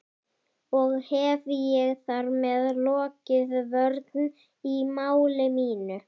Og hef ég þar með lokið vörn í máli mínu.